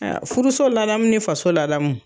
Aya furuso ladamu ni faso ladamu